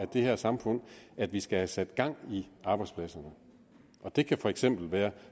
det her samfund skal have sat gang i arbejdspladser og det kan for eksempel være